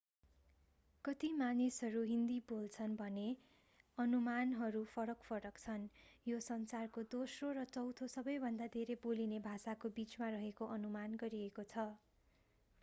कति मानिसहरू हिन्दी बोल्छन् भन्ने अनुमानहरू फरक-फरक छन् यो संसारको दोस्रो र चौथों सबैभन्दा धेरै बोलिने भाषाको बीचमा रहेको अनुमान गरिएको छ